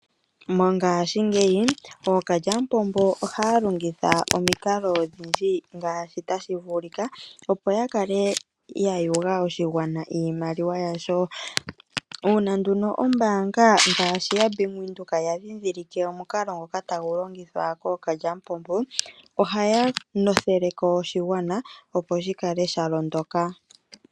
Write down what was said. Mongashingeyi ookalyapombo oha ya longitha omikalo odhindji ngaashi tashi vulika, opo ya kale ya yuga oshigwana iimaliwa yasho. Uuna nduno ombaanga ngashi yaBank Windhoek ya ndhidhilike omukalo ngoka tagu longithwa kookalyapombo ohaya notheleko oshigwana opo shi kale sha londoka.